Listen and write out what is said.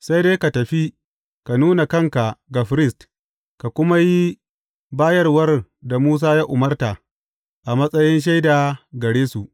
Sai dai ka tafi, ka nuna kanka ga firist ka kuma yi bayarwar da Musa ya umarta, a matsayin shaida gare su.